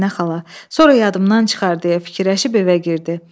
Əminə xala, sonra yadımdan çıxar deyə fikirləşib evə girdi.